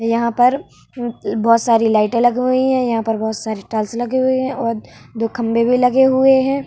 यहाँ पर उ बहुत सारा लाइटे लगी हुई हैं यहाँ पर बहुत सारी टाइल्स लगे हुए हैं और दो खम्बे भी लगे हुए है ।